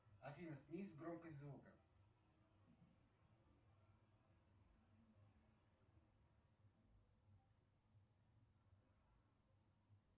афина снизь громкость звука